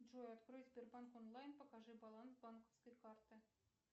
джой открой сбербанк онлайн покажи баланс банковской карты